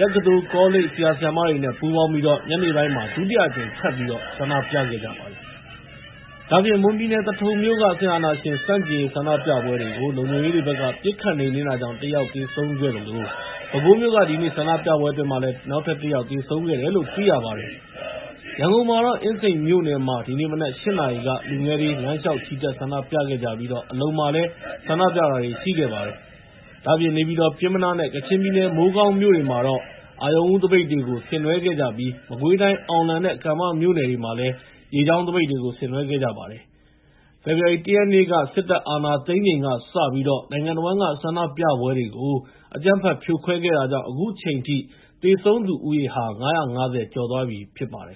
တက္ကသိုလ် ကောလိပ် ဆရာ ဆရာမတွေနဲ့ ပူးပေါင်းပြီးတော့ ညနေပိုင်းမှာလည်း ဒုတိယအကြိမ် ထပ်ပြီး ဆန္ဒပြခဲ့ကြပါတယ်။ ဒါ့အပြင် မွန်ပြည်နယ် သထုံမြို့က စစ်အာဏာရှင်ဆန့်ကျင်ရေး ဆန္ဒပြပွဲကို လုံခြုံရေးတွေဘက်က ပစ်ခတ်နှိမ်နင်းတာကြောင့် ၁ ယောက် သေဆုံးခဲ့သလို ပဲခူးမြို့က ဒီနေ့ဆန္ဒပြပွဲအတွင်း ၁ ယောက်သေဆုံးခဲ့တယ်လို့ သိရပါတယ်။ ရန်ကုန်မှာတော့ အင်းစိန်မြို့နယ်မှာ ဒီနေ့မနက် ၈ နာရီက လူငယ်တွေ လမ်းလျှောက်ချီတက် ဆန္ဒပြခဲ့ကြသလို အလုံမြို့နယ်မှာလည်း ဆန္ဒပြတာတွေ ရှိခဲ့ပါတယ်။ ဒါ့အပြင် နေပြည်တော် ပျဉ်းမနားနဲ့ ကချင်ပြည်နယ် မိုးကောင်းမြို့တွေမှာလည်း အရုဏ်ဦးသပိတ်တွေကို ဆင်နွဲှခဲ့ကြသလို မကွေးတိုင်း အောင်လံနဲ့ ကံမမြို့နယ်တွေမှာလည်း ရေကြောင်းသပိတ်တွေကို ဆင်နွှဲခဲ့ကြပါတယ်။ ဖေဖော်ဝါရီ ၁ ရက်နေ့ စစ်တပ်က အာဏာသိမ်းပြီးချိန်ကစပြီး နိုင်ငံတဝန်းက ဆန္ဒပြပွဲတွေကို အကြမ်းဖက် ဖြိုခွဲခဲ့တာကြောင့် အခုချိန်ထိ သေဆုံးသူဦးရေဟာ ၅၅၀ ကျော် ရှိသွားပြီဖြစ်ပါတယ်